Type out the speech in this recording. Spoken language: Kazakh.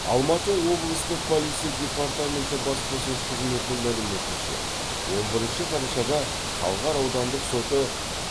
алматы облыстық полиция департаменті баспасөз қызметінің мәліметінше он бірінші қарашада талғар аудандық соты